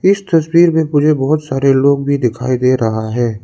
इस तस्वीर में मुझे बहुत सारे लोग भी दिखाई दे रहा है।